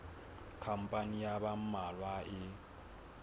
khampani ya ba mmalwa e